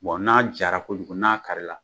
Bon n'a jara kojugu n'a kari la